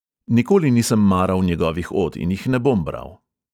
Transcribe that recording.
Nikoli nisem maral njegovih od in jih ne bom bral!